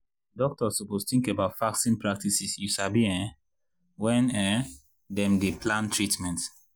doktors suppose tink about fasting practices you sabi um wen um dem dey plan treatment.